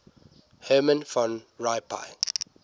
herman van rompuy